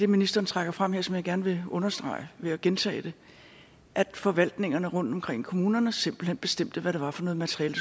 ministeren trækker frem her som jeg gerne vil understrege ved at gentage det at forvaltningerne rundtomkring i kommunerne simpelt hen bestemte hvad det var for noget materiale